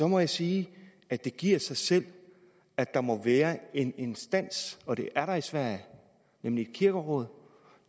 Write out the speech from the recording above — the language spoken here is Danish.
må jeg sige at det giver sig selv at der må være en instans og det er der i sverige nemlig et kirkeråd